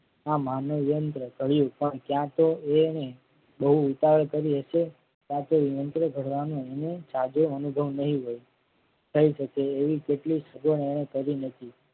આ માનવ યંત્ર કર્યું પણ ત્યાં તો એને બહુ ઉતાવળ કરી એટલે પાછો યંત્ર ધરવાનો અને સાંજે અનુભવ નહિ રહે કહી શકે એવી કેટલીક શ્રદ્ધા એને કરી નથી.